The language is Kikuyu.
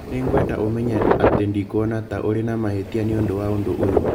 Nĩ ngwenda ũmenye atĩ ndikwona ta ũrĩ na mahĩtia nĩ ũndũ wa ũndũ ũyũ